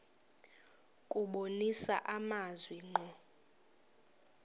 kubonisa amazwi ngqo